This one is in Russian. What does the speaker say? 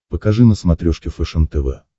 покажи на смотрешке фэшен тв